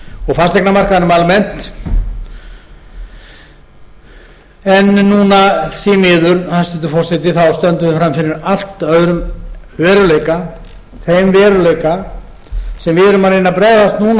fasteignamarkaðnum almennt núna því miður hæstvirtur forseti stöndum við frammi fyrir allt öðrum veruleika þeim veruleika sem við erum að reyna að bregðast